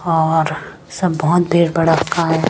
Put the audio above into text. और सब बहोत भीड़ भड़क्का है।